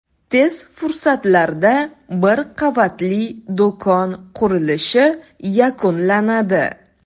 Tez fursatlarda bir qavatli do‘kon qurilishi yakunlanadi.